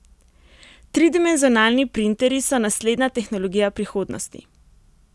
Tridimenzionalni printerji so naslednja tehnologija prihodnosti.